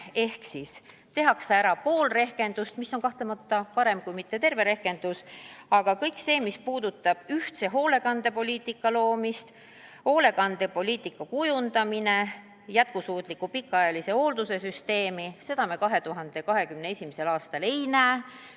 Ehk siis tehakse ära pool rehkendust – see on kahtlemata parem, kui ei jõuta teha tervet rehkendust –, aga kõike seda, mis puudutab ühtse hoolekandepoliitika loomist, hoolekandepoliitika kujundamist ja jätkusuutlikku pikaajalise hoolduse süsteemi, me 2021. aastal ei näe.